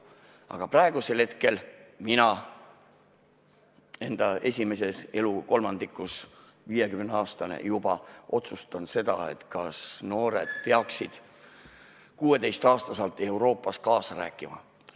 Aga praegu mina enda esimeses elukolmandikus, 50-aastane juba, otsustan, kas noored peaksid 16-aastaselt Euroopas kaasa rääkima.